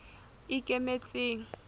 ikemetseng